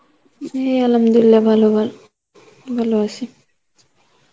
হে Arbi ভালো ভালো, ভালো আছি